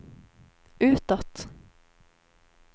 utåt